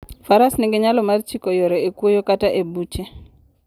Faras nigi nyalo mar chiko yore e kwoyo kata e buche.